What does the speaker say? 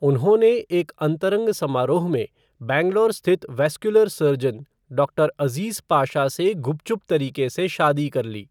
उन्होंने एक अंतरंग समारोह में बैंगलोर स्थित vascular surgeon doctor Aziz Pasha से गुपचुप तरीके से शादी कर ली।